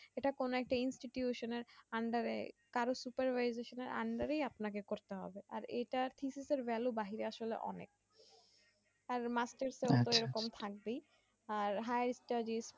সেইটা কোনো একটা institution এর under এ কারো supervisor এর under এই আপনাকে করতে হবে আরএটা তিথিসের value আসলে অনেক শান্তি আর হ্যাঁ